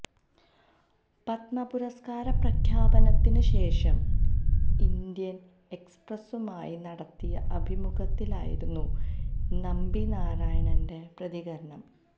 പത്മ പുര്സകാര പ്രഖ്യാപനത്തിന് ശേഷം ഇന്ത്യന് എക്സ്പ്രസുമായി നടത്തിയ അഭിമുഖത്തിലായിരുന്നു നമ്പി നാരായണന്റെ പ്രതികരണം